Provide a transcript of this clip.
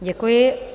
Děkuji.